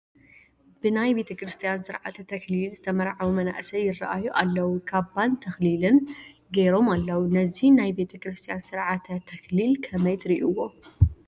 ብናይ ቤተ ክርስቲያን ስርዓተ ተክሊል ዝተመራዓዉ መናእሰይ ይርአዩ ኣለዉ፡፡ ካባን ተኽሊልን ገይሮም ኣለዉ፡፡ ነዚ ናይ ቤተ ክርስቲያን ስርዓተ ተክሊል ከመይ ትርእይዎ?